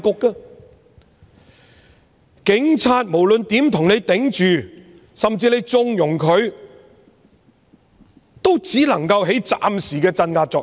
無論警察如何替你擋，甚至你縱容他們，也只能起暫時的鎮壓作用。